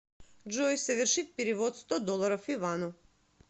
джой совершить перевод сто долларов ивану